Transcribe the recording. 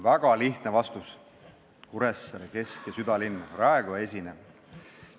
Väga lihtne vastus: Kuressaare kesk- ja südalinn, raekoja esine.